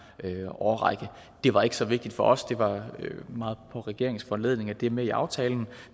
årrække det var ikke så vigtigt for os det var meget på regeringens foranledning at det er med i aftalen